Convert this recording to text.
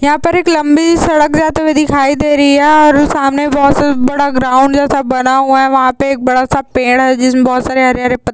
यहाँ पर एक लम्बी सड़क जाते हुए दिखाई दे रही है और सामने एक बहोत बड़ा ग्राउंड जैसा बना है। वहां पे एक बड़ा सा पेड़ है जिसमे बहोत सारे हरे हरे पत् --